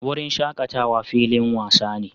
Wurin shakatawa filin wasa ne